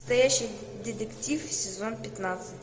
настоящий детектив сезон пятнадцать